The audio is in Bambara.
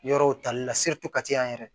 Yɔrɔw tali la kati yan yɛrɛ